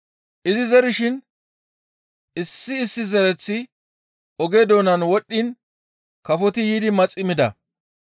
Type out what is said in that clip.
Izi zerishin issi issi zereththi oge doonan wodhdhiin kafoti yiidi maxi mida.